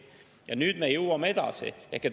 Ja nüüd me jõuame edasi.